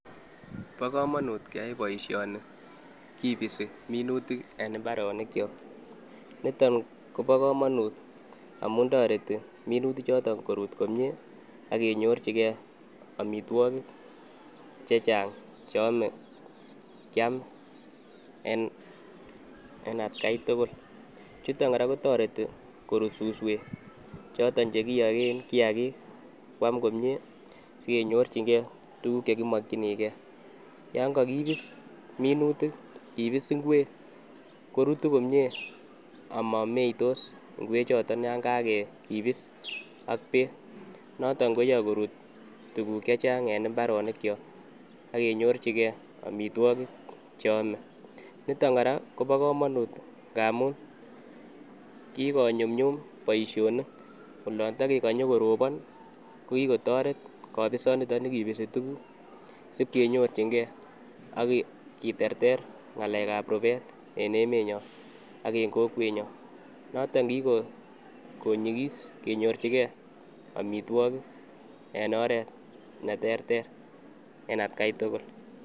Bokomonut keyai boisioni kibis minutik en mbarenikyok nito kobokomonut amun toreti minutichoto korut komie akenyorchike amitwokik chechang cheome kiam chuton kora kotoreti korut suswek choton chekiyoken kiyakik kwam komie sikenyorchingee tukuk chekimokyinige yon kokibis minutik kibis ngwek korutu komie amomeitos ngwechoto yon kokibis ak beek noto koyoe korut tuk chechang en mbarenikyok akenyorchike amitwokik cheame niton kora kobokomonut ngamun kikonyumnyum boisionik olon tokekonye koropon kokikotoret kobisonito nikibis tukuk sipkonyorchinge akiterter ngalekab rubet enemenyon ak en kokwenyon noton kikonyikis kenyorchige amitwokik en oret neterter en atkai tugul.